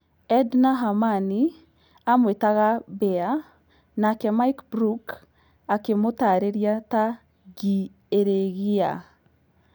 Edna Hamani amũetaga "bea" nake Mike Brook akĩmutarĩrĩa ta "ngii iragiia"